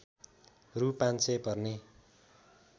रु ५०० पर्ने